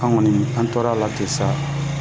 An kɔni an tora a la te sa,